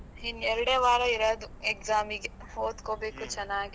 ಇನ್ ಎರಡೇ ವಾರ ಇರೋದು exam ಗೆ ಓದ್ಕೋಬೇಕು ಚೆನ್ನಾಗಿ.